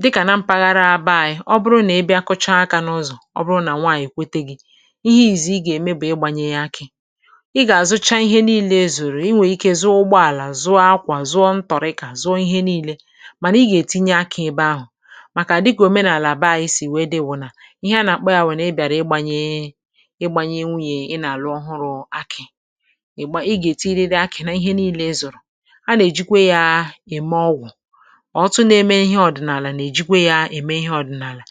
dịkà na mpaghara abịa anyị. Ọ̀ bụrụ̀ nà ị̀ bịa kụ́chaa akị n’ụ́zọ̀ ihe ìzì, ị̀ gà-ème bụ̀ ị̀gbànyè ya. Akị ị̀ gà-àzụcha. Ihe niile èzùrù: inwè ike zụta ụgbọ̀ àlà, zụta àkwà, zụta ntọ̀rị̀kà, zụta ihe niile. um Mànà ị̀ gà-ètinye akị ebe ahụ̀, màkà àdị̀kà òmenàlà. Àbè ahụ̀ sì wéé dị́wù̀ nà ihe a nà-àkpọ̀ ya. Wèrè ị̀ bịàrí, ị̀ gbànyè gbànyè nwùn yè ị̀ nà-àlụ́ ọhụụ̀. Akị ị̀ gà-ètinye, rée akị nà ihe niile èzùrù. A nà-èjikwa ya ème ọgwụ̀, ọ̀tụtụ nà-èmè ihe ọ̀dị̀nàlà. Nà-èjikwa ya ème ihe ọ̀dị̀nàlà.